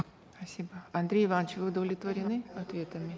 спасибо андрей иванович вы удовлетворены ответами